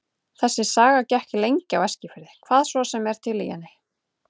Þessi saga gekk lengi á Eskifirði, hvað svo sem er til í henni.